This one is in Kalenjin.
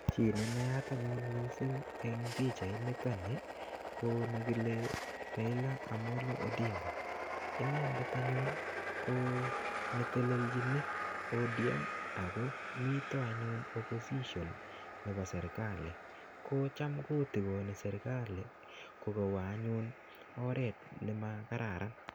Chi ne naat anyun misng en pichainito ni ko nekile Raila Amolo Odinga, inendet anyun ko netelechin ODM ago miten anyun opposition nebo serkali ko cham kotikoni serkali ko kowo anyun oret nemakararan.